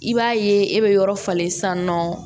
I b'a ye e bɛ yɔrɔ falen san nɔ